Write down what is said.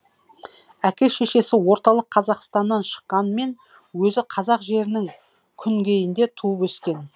әке шешесі орталық қазақстаннан шыққанмен өзі қазақ жерінін күнгейінде туып өскен